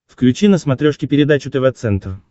включи на смотрешке передачу тв центр